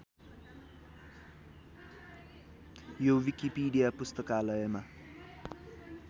यो विकिपिडिया पुस्तकालयमा